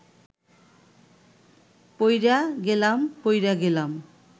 পইড়া গেলাম পইড়া গেলাম